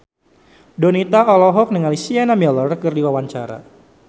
Donita olohok ningali Sienna Miller keur diwawancara